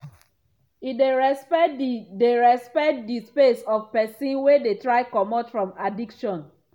e dey respect di dey respect di space of pesin wey dey try comot from addiction.